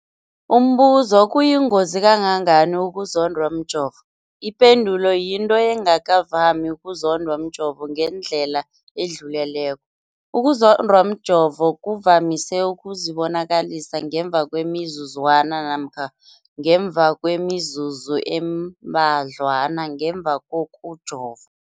Umbuzo, kuyingozi kangangani ukuzondwa mjovo? Ipendulo, into engakavami ukuzondwa mjovo ngendlela edluleleko. Ukuzondwa mjovo kuvamise ukuzibonakalisa ngemva kwemizuzwana namkha ngemva kwemizuzu embadlwana ngemva kokujova.